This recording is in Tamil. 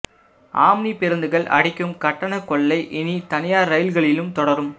ஆம்னி பேருந்துகள் அடிக்கும் கட்டண கொள்ளை இனி தனியார் ரயில்களிலும் தொடரும்